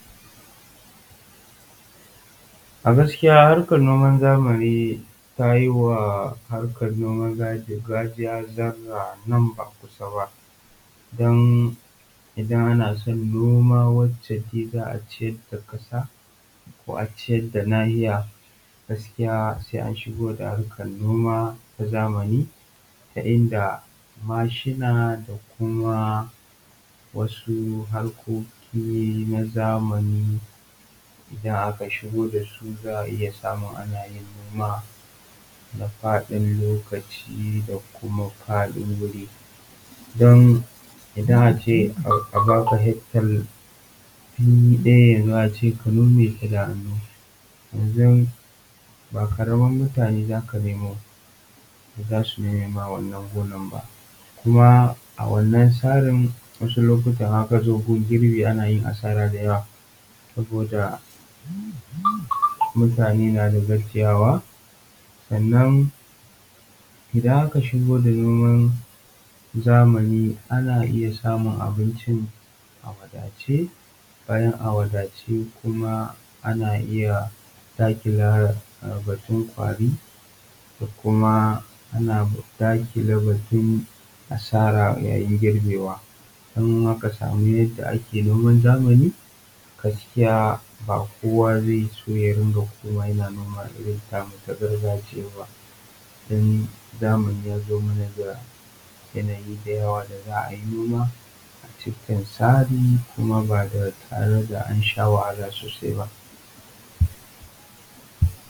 A gaskiya harkan noma na zamani ta yi wa ta ba wa na gargajiya tazara nesa ba kusa ba, don idan ana son noma wanda za a ciyar da kasa ko a ciyar da nahiya sai an shigo da harkan noma na zamani ta inda mashina da kuma wasu harkoki na zamani da aka shigo da su za a samu ana yin noma na fadin lokaci da kuma fadin da kuma fadin wuri don yanzu a baka gona daya a ce ka nome ta da hannu ba karamin mutane za ka nemo su nome ma wannan gona ba, kuma a wannan tsarin idan aka zo gun girbi ana yin asara da yawa saboda mutane na da gajiyawa. Sannan idan aka shigo da noman zamani ana iya samun abinci a wadace bayan a wadace kuma ana iya dakile batun kwari da kuma dakile batun asara yayin girbewa idan aka samu yanayin noman zamani gaskiya ba kowa zai so yana noman gargajiya ba don zamani yazo mana da yanayin da za a yi noma a cikin tsari kuma ba tare da wahala sosai ba.